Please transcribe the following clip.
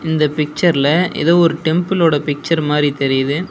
இந்த பிச்சர்ல எதோ ஒரு டெம்பிளோட பிச்சர் மாரி தெரியிது.